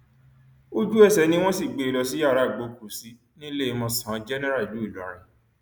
ojúẹsẹ ni wọn sì gbé e lọ sí yàrá ìgbọọkúsí níléemọsán jẹnẹra ìlú ìlọrin